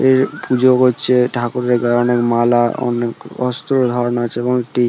এর পুজো করছে। ঠাকুরের গায়ে অনেক মালা অনেক অস্ত্র ধারণ আছে এবং একটি--